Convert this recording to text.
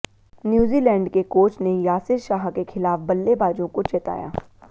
New Zealand के coach ने यासिर शाह के खिलाफ बल्लेबाजों को चेताया